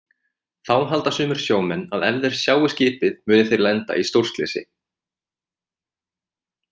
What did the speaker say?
Þá halda sumir sjómenn að ef þeir sjái skipið muni þeir lenda í stórslysi.